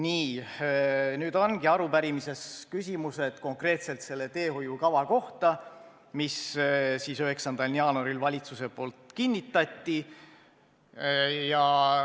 Nii, nüüd ongi meil arupärimises küsimused konkreetselt selle teehoiukava kohta, mille valitsus 9. jaanuaril kinnitas.